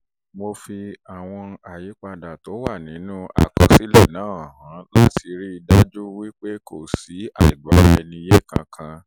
mo fi àwọn ìyípadà tó wà nínú àkọsílẹ̀ náà hàn wọ́n láti rí i dájú pé kò sí àìgbọ́ra-ẹni-yé kankan